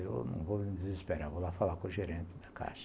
Eu não vou me desesperar, vou lá falar com o gerente da Caixa.